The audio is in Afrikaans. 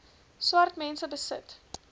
swart mense besit